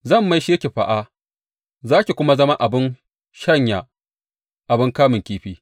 Zan maishe ki fā, za ki kuma zama wurin shanya abin kamun kifi.